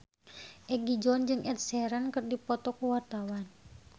Egi John jeung Ed Sheeran keur dipoto ku wartawan